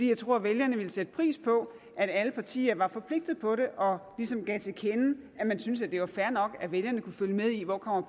jeg tror at vælgerne ville sætte pris på at alle partier var forpligtet på det og ligesom gav til kende at de synes at det var fair nok at vælgerne kunne følge med i hvor